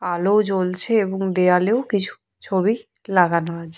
আলো জ্বলছে এবং দেওয়ালেও কিছু ছবি লাগানো আছে।